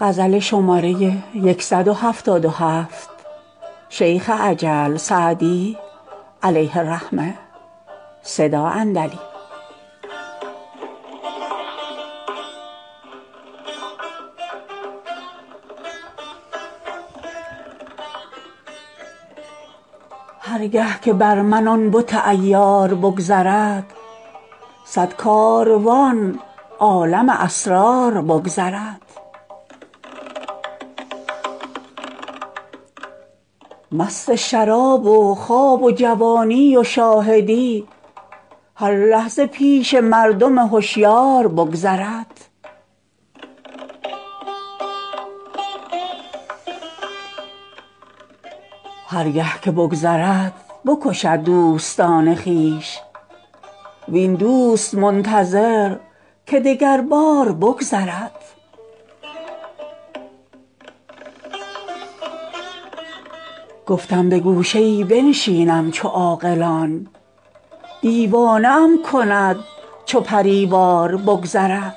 هر گه که بر من آن بت عیار بگذرد صد کاروان عالم اسرار بگذرد مست شراب و خواب و جوانی و شاهدی هر لحظه پیش مردم هشیار بگذرد هر گه که بگذرد بکشد دوستان خویش وین دوست منتظر که دگربار بگذرد گفتم به گوشه ای بنشینم چو عاقلان دیوانه ام کند چو پری وار بگذرد